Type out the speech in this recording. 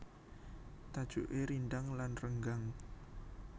Tajuké rindhang lan renggang